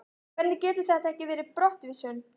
Hvernig getur þetta ekki verið brottvísun?